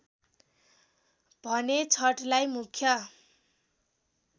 भने छठलाई मुख्य